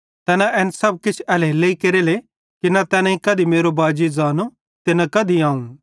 तैन एन सब एल्हेरेलेइ केरेले कि न तैनेईं कधी मेरो बाजी ज़ांनो ते न कधी अवं